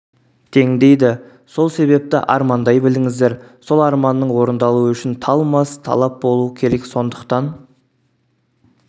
тең дейді сол себепті армандай біліңіздер сол арманның орындалуы үшін талмас талап болу керек сондықтан